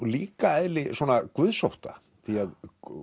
líka eðli svona guðsótta því að